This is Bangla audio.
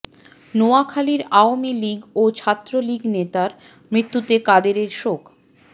নোয়াখালীর আওয়ামী লীগ ও ছাত্রলীগ নেতার মৃত্যুতে কাদেরের শোক